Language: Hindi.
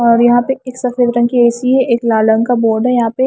और यहां पे एक सफेद रंग की ए_सी है एक लाल रंग का बोर्ड है यहां पे--